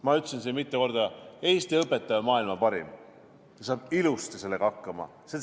Ma ütlesin siin mitu korda: Eesti õpetaja, maailma parim, saab ilusti sellega hakkama!